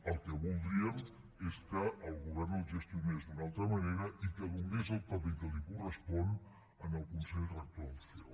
el que voldríem és que el govern el gestionés d’una altra manera i que donés el paper que correspon al consell rector del ceo